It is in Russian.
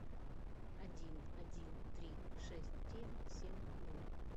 один один три шесть девять семь ноль